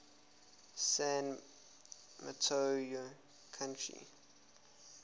san mateo county